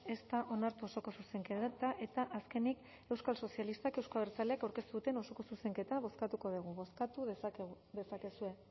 ez da onartu osoko zuzenketa eta azkenik euskal sozialistak euzko abertzaleak aurkeztu duten osoko zuzenketa bozkatuko dugu bozkatu dezakezue